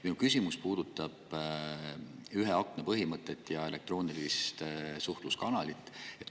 Minu küsimus puudutab ühe akna põhimõtet ja elektroonilist suhtluskanalit.